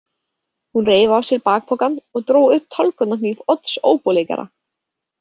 Hún reif af sér bakpokann og dró upp tálgunarhníf Odds óbóleikara.